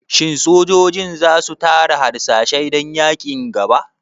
Shin sojojin za su tara harsashai dan yaƙin gaba?